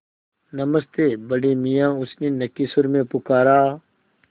नमस्ते बड़े मियाँ उसने नक्की सुर में पुकारा